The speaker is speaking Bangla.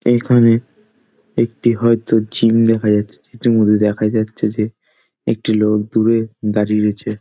এইখানে একটি হয়তো জিম দেখা যাচ্ছে | যেটির মধ্যে দেখা যাচ্ছে যে একটি লোক দূরে দাড়িয়ে রয়েছে |